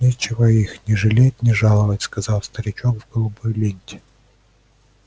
нечего их ни жалеть ни жаловать сказал старичок в голубой ленте